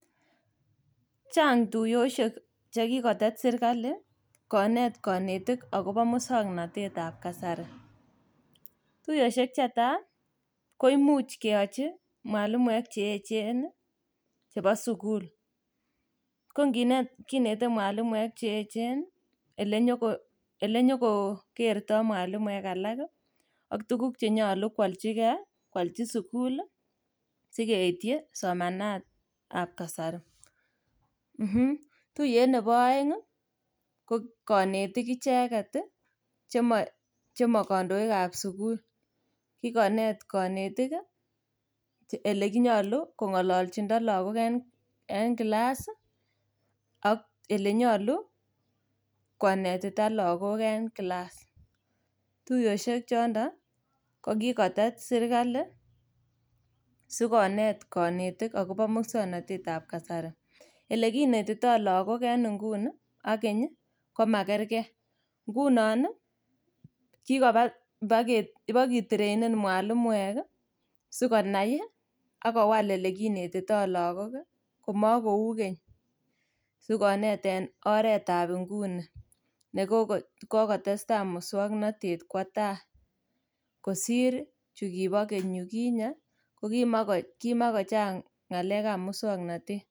Chang' tuiyosiek chekikotet sirkali konet konetik agobo muswoknotet. Tuiyosiek chetai koimuch keyochi mwalimuek cheechen ii chebo sukul. Konginet kinete mwalimuek cheechen ii elenyo elenyokookerto mwalimuek alak ak tuguk chenyolu kwoljigei ii, kwolji sukul ii sikeityi somanat ab kasari. um Tuiyet nebo oeng' ii konetik icheget ii chemokondoikab sukul, ikonet konetik che ile nyolu kong'oljindo logok en kilas ii ak ilenyolu konetita logok en kilas. Tuiyosiek chondon ii kokikotes sirkali sikonet konetik agobo muswoknotetab kasari. Ilekinetito logok en nguni ak keny ii komakerkei, ngunon ii kikoba iboketreinen mwalimuek ii sikonai ak kowal ilekinetito logok ii komokou keny sikonet en oretab nguni nekokotestai muswoknotet kwo tai kosir chukibo keny yuginye kokimokochang' ng'alekab muswoknotet.